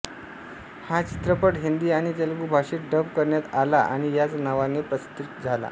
हा चित्रपट हिंदी आणि तेलगू भाषेत डब करण्यात आला आणि याच नावाने प्रदर्शित झाला